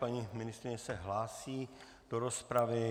Paní ministryně se hlásí do rozpravy.